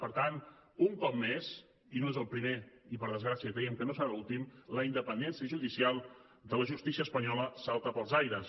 per tant un cop més i no és el primer i per desgràcia creiem que no serà l’últim la independència judicial de la justícia espanyola salta pels aires